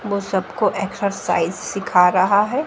ओ सबको एक्सरसाइज सीख रहा है।